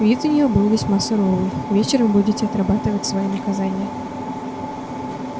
вид у неё был весьма суровый вечером будете отрабатывать свои наказания